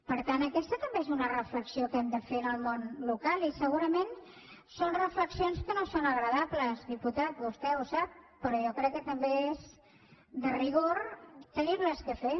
per tant aquesta també és una reflexió que hem de fer en el món local i segurament són reflexions que no són agradables diputada vostè ho sap però jo crec que també és de rigor haver les de fer